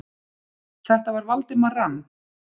Þetta var Valdimar rann